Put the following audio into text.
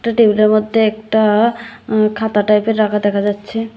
একটা টেবিল -এর মধ্যে একটা অ খাতা টাইপ -এর রাখা দেখা যাচ্ছে।